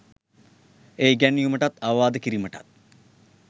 එය ඉගැන්වීමටත් අවවාද කිරීමටත්